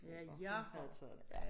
Ja jeg har taget det ja